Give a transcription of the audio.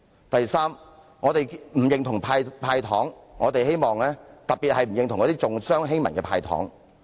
第三，我們不認同"派糖"，特別是重商欺民的"派糖"。